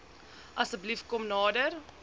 asseblief kom nader